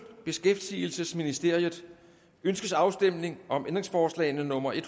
beskæftigelsesministeriet ønskes afstemning om ændringsforslag nummer en